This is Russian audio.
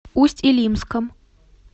усть илимском